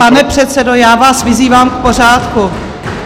Pane předsedo, já vás vyzývám k pořádku.